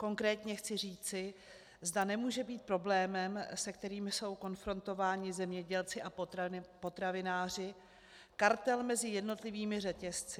Konkrétně chci říci, zda nemůže být problémem, se kterým jsou konfrontováni zemědělci a potravináři, kartel mezi jednotlivými řetězci.